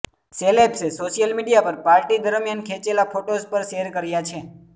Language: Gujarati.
સેલેબ્સે સોશિયલ મીડિયા પર પાર્ટી દરમિયાન ખેંચેલા ફોટોઝ પર શેર કર્યા છે